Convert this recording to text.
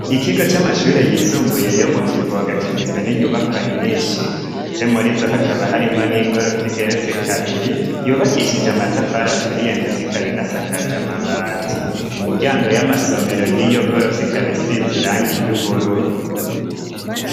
Ikigo c'amashure yisumbuye yo mu kivoga kigizwe n'inyubakwa nyinshi, ndetse muri zo hakaba harimwo n'igorofa igeretse kabiri yubakishije amatafara aturi ye ndetsa ikabii n'asakaje amabati imiryango y'amasomero yiyo gorofo ikabisi ziranga iry'ubururu.